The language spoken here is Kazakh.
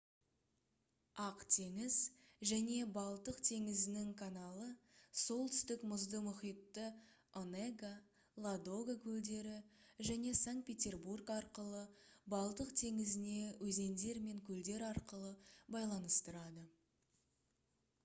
ақ теңіз және балтық теңізінің каналы солтүстік мұзды мұхитты онега ладога көлдері және санкт-петербург арқылы балтық теңізіне өзендер мен көлдер арқылы байланыстырады